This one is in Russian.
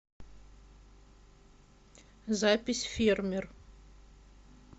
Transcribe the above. запись фермер